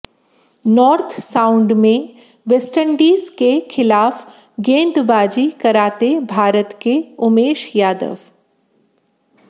north Sound में West Indies के खिलाफ गेंदबाजी कराते भारत के उमेश यादव